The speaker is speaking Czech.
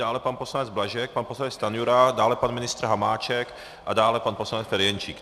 Dále pan poslanec Blažek, pan poslanec Stanjura, dále pan ministr Hamáček a dále pan poslanec Ferjenčík.